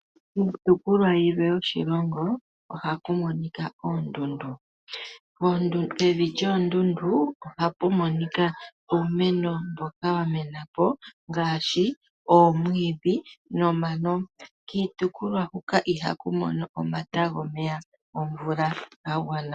Iitopolwa yilwe yoshilongo ohaku monika oondundu. Pevi lyoondundu ohapu monika uumeno mboka wamena po ngaashi oomwiidhi nomano, kiitopolwa huka ihaku mono omatama gomvula ga gwana.